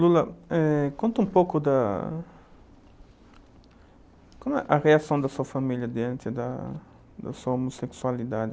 eh, conta um pouco da... Como é a reação da sua família diante da da sua homossexualidade?